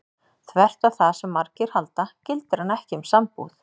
Þvert á það sem margir halda gildir hann ekki um sambúð.